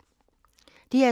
DR2